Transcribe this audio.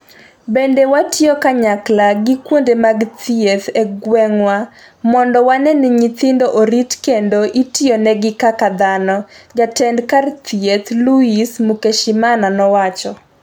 Bende watiyo kanyakla gi kuonde mag thieth e gweng'wa mondo wane ni nyithindo orit kendo itiyonegi kaka dhano'', jatend kar chieth Louise Mukeshimana nowacho.